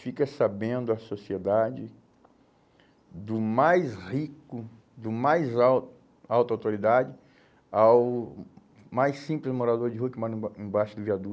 Fica sabendo a sociedade do mais rico, do mais al alta autoridade ao mais simples morador de rua que mora embai embaixo do viaduto.